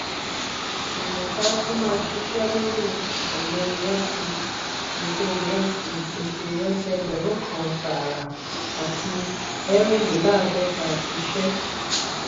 imota tún máa ṣiṣẹ lori ọgbin iresi pèsè iresi pèsè ẹgbẹrun kàn tààrà àti ẹrin-le-laadota iṣẹ.